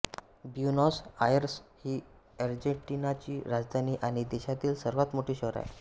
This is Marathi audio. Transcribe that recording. ब्युनॉस आयर्स ही अर्जेन्टिनाची राजधानी आणि देशातील सर्वात मोठे शहर आहे